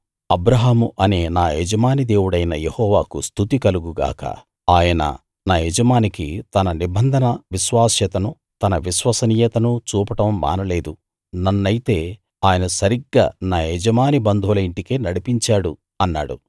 అబ్రాహాము అనే నా యజమాని దేవుడైన యెహోవాకు స్తుతి కలుగు గాక ఆయన నా యజమానికి తన నిబంధన విశ్వాస్యతనూ తన విశ్వసనీయతనూ చూపడం మానలేదు నన్నయితే ఆయన సరిగ్గా నా యజమాని బంధువుల ఇంటికే నడిపించాడు అన్నాడు